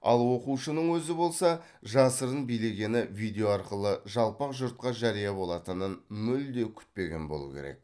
ал оқушының өзі болса жасырын билегені видео арқылы жалпақ жұртқа жария болатынын мүлде күтпеген болуы керек